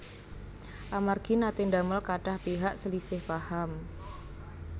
Amargi naté ndamel kathah pihak slisih paham